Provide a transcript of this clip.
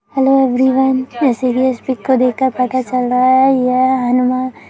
hello everyone जैसे की इस पिक को देख कर पता चल रहा है यह हनुमान --